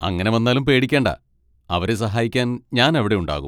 അങ്ങനെ വന്നാലും പേടിക്കേണ്ട, അവരെ സഹായിക്കാൻ ഞാൻ അവിടെ ഉണ്ടാകും.